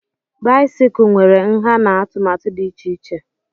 báịsikụ nwere ǹhá na atụmatụ dị iche iche